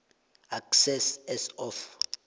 excess as of